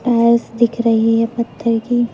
Tiles दिख रही है पत्थर की।